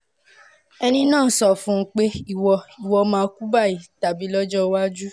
ẹni náà sọ fún un pé "ìwọ "ìwọ máa kú báyìí tàbí lọ́jọ́ iwájú"